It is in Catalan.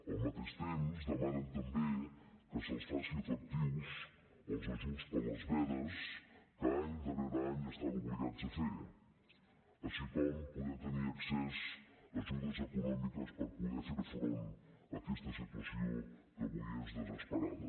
al mateix temps demanen també que se’ls facin efectius els ajuts per a les vedes que any darrere any estan obligats a fer així com poder tenir accés a ajudes econòmiques per poder fer front aquesta situació que avui és desesperada